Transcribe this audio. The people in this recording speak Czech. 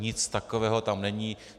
Nic takového tam není.